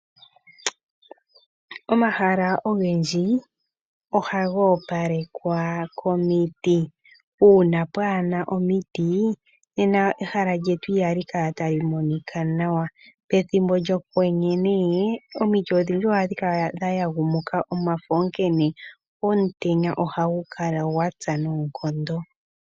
Omahala ogendji, ohaga opalekwa komiti. Uuna pwaana omiti, nena ehala lyetu ihali kala ta li monika nawa. Pethimbo lyokwenye nee omiti odhindji ohadhi kala dha yagumuka omafo onkene omutenya ohagu kala gwa tsa noonkondo.